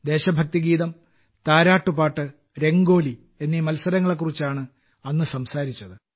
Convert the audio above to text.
ദേശഭക്തിഗീതം താരാട്ട് പാട്ട് രംഗോലി എന്നീ മത്സരങ്ങളെ കുറിച്ചാണ് അന്ന് സംസാരിച്ചത്